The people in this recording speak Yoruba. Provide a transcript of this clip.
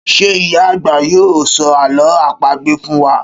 Ṣé ìyá àgbà yóò sọ àlọ́ àpagbè fún wa?